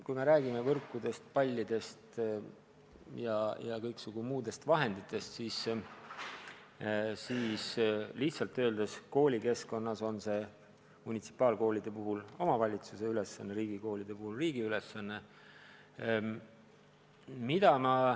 Kui me räägime võrkudest, pallidest ja kõiksugu muudest vahenditest, siis munitsipaalkoolide puhul on see omavalitsuse ülesanne, riigikoolide puhul riigi ülesanne.